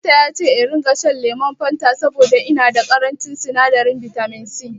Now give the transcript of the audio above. Likita yace in ringa shan lemon fata saboda ina da ƙarancin sinadarin bitaminsi